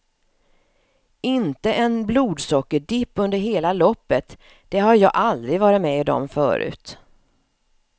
Inte en blodsockerdipp under hela loppet, det har jag aldrig varit med om förut.